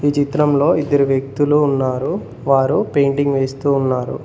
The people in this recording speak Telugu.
చిత్రంలో ఇద్దరు వ్యక్తులు ఉన్నారు వారు పెయింటింగ్ వేస్తూ ఉన్నారు.